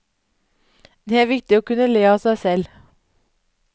Det er viktig å kunne le av seg selv.